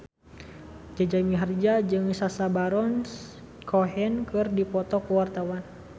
Jaja Mihardja jeung Sacha Baron Cohen keur dipoto ku wartawan